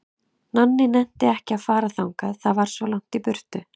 Nonni nennti ekki að fara þangað, það var svo langt í burtu.